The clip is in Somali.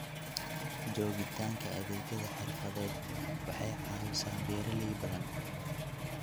Joogitaanka adeegyada xirfadeed waxay caawisaa beeralay badan.